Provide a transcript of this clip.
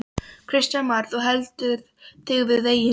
Kristján Már: Þú heldur þig við veginn?